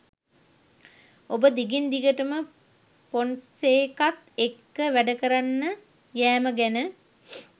ඔබ දිගින් දිගටම ෆොන්සේකත් එක්ක වැඩකරන්න යෑම ගැන?